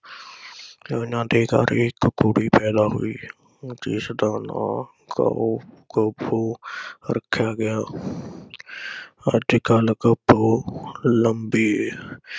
ਤੇ ਓਹਨਾ ਦੇ ਘਰ ਇਕ ਕੁੜੀ ਇਕ ਪੈਦਾ ਹੋਈ, ਜਿਸਦਾ ਨਾਂ ਖਬੋ ਰੱਖਿਆ ਗਿਆ ਅਤੇ ਕਲ ਖਬੋ ਲੰਮੀ